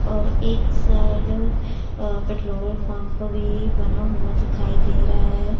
और एक side uh petrol pump भी बना हुआ दिखाई दे रहा है।